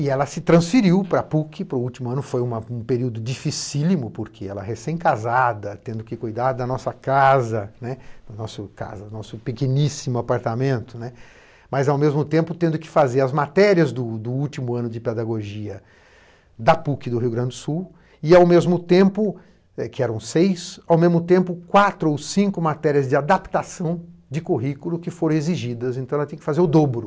E ela se transferiu para a PUC, para o último ano, foi uma um período dificílimo, porque ela recém-casada, tendo que cuidar da nossa casa, da nosso casa, nosso pequeníssimo apartamento, né, mas ao mesmo tempo tendo que fazer as matérias do do último ano de pedagogia da PUC do Rio Grande do Sul, e ao mesmo tempo, eh, que eram seis, quatro ou cinco matérias de adaptação de currículo que foram exigidas, então ela tinha que fazer o dobro.